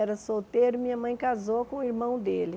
Era solteiro e minha mãe casou com o irmão dele.